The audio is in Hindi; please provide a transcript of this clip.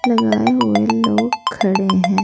लगाए हुए लोग खड़े हैं।